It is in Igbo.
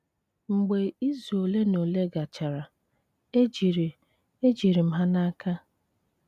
Mgbe izu ole na ole gachara, ejiri ejiri m ha n'aka.